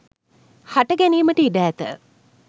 හට ගැනීමට ඉඩ ඇත